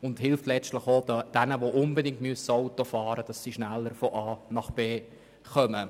Es hilft letztlich auch denjenigen schneller von A nach B kommen, die unbedingt Auto fahren müssen.